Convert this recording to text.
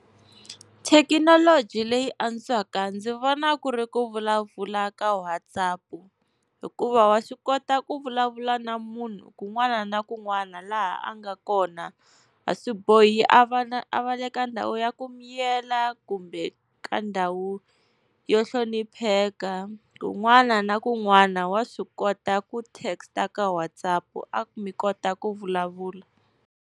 Thekinoloji leyi antswaka ndzi vona ku ri ku vulavula ka WhatsApp, hikuva wa swi kota ku vulavula na munhu kun'wana na kun'wana laha a nga kona, a swi bohi a va na, a va le ka ndhawu ya ku miyela kumbe ka ndhawu yo hlonipheka. Kun'wana na kun'wana wa swi kota ku text ka WhatsApp a mi kota ku vulavula.